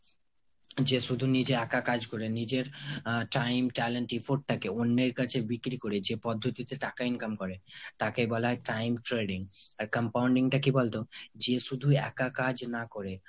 যে শুধু নিজে একা কাজ করে, নিজের আহ time, talent, effort টাকে অন্যের কাছে বিক্রি করে যে পদ্ধতিতে টাকা income করে তাকে বলা হয় time trading। আর compounding টা কি বলতো যে শুধু একা কাজ না করে